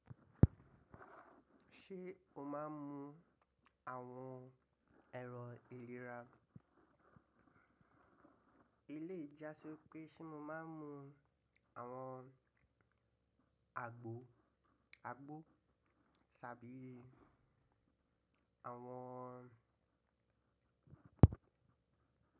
Ṣé o máa ń mu àwọn ẹ̀rọ ìlera? Ilé ì jàsi wipé ṣé mo máa ń mu àwọn àgbo, àgbo ṣàbí àwọn.